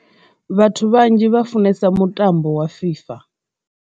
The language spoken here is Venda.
Vhathu vhanzhi vha funesa mutambo wa fifa.